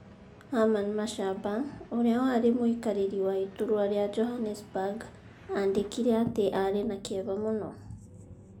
Herman Mashaba, ũrĩa warĩ mũikarĩri wa iturwa rĩa Johannesburg, aandĩkire atĩ aarĩ na kĩeha mũno.